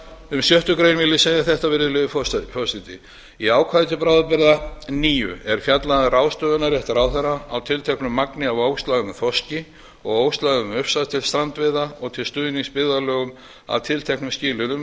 um sjöttu grein vil ég segja þetta í ákvæði til bráðabirgða níu er fjallað um ráðstöfunarrétt ráðherra á tilteknu magni á óslægðum þorski og óslægðum ufsa til strandveiða og til stuðnings byggðarlögum að tilteknum skilyrðum